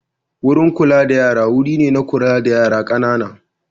Wurin kula da yara wuri ne na kula da yara ƙanana.